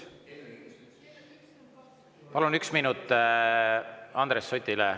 Palun üks minut Andres Sutile.